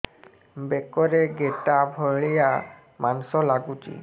ବେକରେ ଗେଟା ଭଳିଆ ମାଂସ ଲାଗୁଚି